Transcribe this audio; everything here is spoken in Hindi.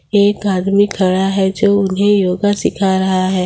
एक आदमी खड़ा है जो उन्हें योगा सीख रहा है।